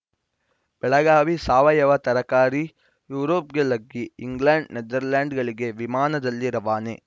ಬೆಳಗಾವಿ ಸಾವಯವ ತರಕಾರಿ ಯುರೋಪ್‌ಗೆ ಲಗ್ಗೆ ಇಂಗ್ಲೆಂಡ್‌ ನೆದರ್‌ಲ್ಯಾಂಡ್‌ಗಳಿಗೆ ವಿಮಾನದಲ್ಲಿ ರವಾನೆ